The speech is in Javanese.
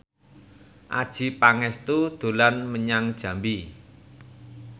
Adjie Pangestu dolan menyang Jambi